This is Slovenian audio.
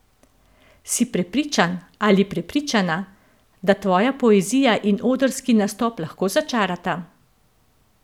Si prepričan ali prepričana, da tvoja poezija in odrski nastop lahko začarata?